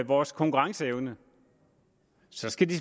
vores konkurrenceevne så skal de